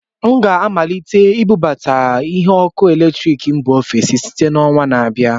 M ga-amalite ibubata ihe ọkụ eletrik mba ofesi site na ọnwa na-abịa